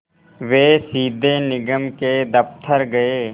वे सीधे निगम के दफ़्तर गए